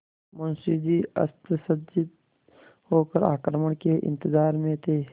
मुंशी जी अस्त्रसज्जित होकर आक्रमण के इंतजार में थे